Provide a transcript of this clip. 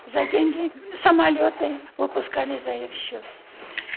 за деньги самолеты выпускали за их счет